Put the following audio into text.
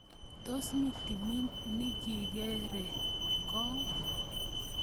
Tos mi timit nikikekerkong?